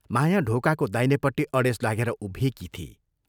माया ढोकाको दाहिनेपट्टि अडेस लागेर उभिएकी थिई।